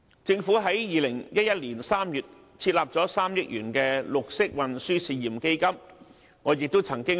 政府在2011年3月設立了3億元的綠色運輸試驗基金，我亦曾出任為成員。